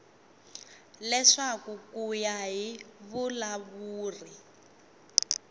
leswaku ku ya hi vulawuri